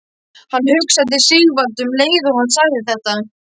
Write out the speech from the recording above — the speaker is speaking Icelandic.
Hann hugsaði til Sigvalda um leið og hann sagði þetta.